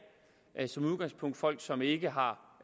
er som udgangspunkt folk som ikke har